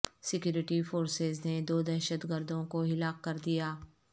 security forces نے دو دہشت گردوں کو ہلاک کردیا